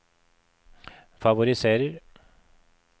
favoriserer